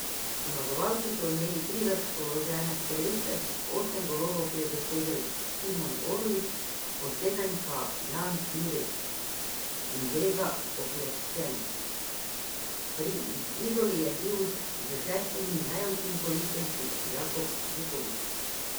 Zmagovalci so imeli tri razpoložene strelce, osem golov je dosegel Timon Orlič, po sedem pa Jan Jurečič in Grega Okleščen, pri Izoli je bil s šestimi najučinkovitejši Jakob Vukovič.